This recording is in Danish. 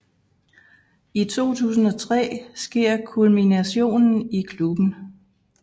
I 2003 sker kulminationen i klubben